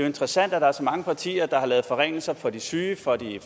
interessant at der er så mange partier der har lavet forringelser for de syge for de